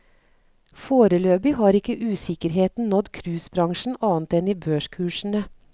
Foreløpig har ikke usikkerheten nådd cruisebransjen annet enn i børskursene.